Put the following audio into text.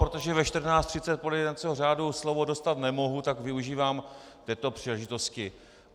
Protože ve 14.30 podle jednacího řádu slovo dostat nemohu, tak využívám této příležitosti.